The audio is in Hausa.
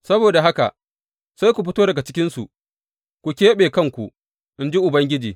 Saboda haka, Sai ku fito daga cikinsu, ku keɓe kanku, in ji Ubangiji.